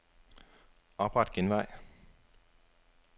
Opret genvej.